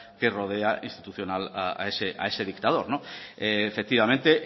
que rodea institucional a ese dictador efectivamente